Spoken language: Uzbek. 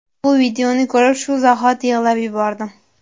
Bu videoni ko‘rib shu zahoti yig‘lab yubordim.